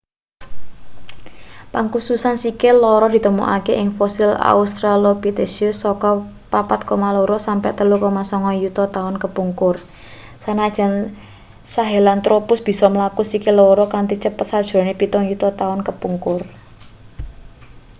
pangkususan sikil loro ditemokake ing fosil australopithecus saka 4,2-3,9 yuta taun kepungkur sanajan sahelanthropus bisa mlaku sikil loro kanthi cepet sajrone pitung yuta taun kepungkur